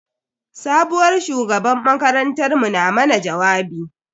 Sabuwar shugabar makarantar mu na mana jawabi.